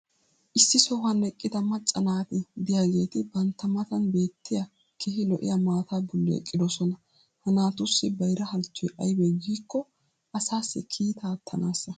issi sohuwan eqqida macca naati diyaageeti bantta matan beetiya keehi lo'iya maataa boli eqqidosona. ha naatussi bayra halchchoy aybee giikko asaassi kiittaa aattanaassa.